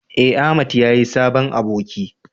eh Ahmad ya yi sabon aboki